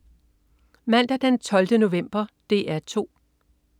Mandag den 12. november - DR 2: